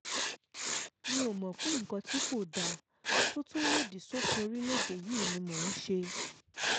mi ò mọ̀ pé nǹkan tí kò dáa tó tún lòdì sófin orílẹ̀‐èdè yìí ni mò ń ṣe